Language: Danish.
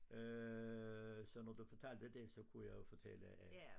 Øh så når du fortalte det så kunne jeg jo fortællle at